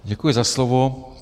Děkuji za slovo.